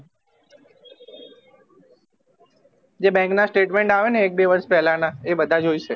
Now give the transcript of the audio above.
જે bank ના statement આવે ને એક બે વર્ષ પેલા ના અ બધા જોયીશે